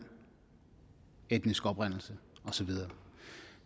etnisk oprindelse og så videre